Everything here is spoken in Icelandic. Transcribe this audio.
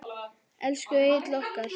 Elsku Egill okkar.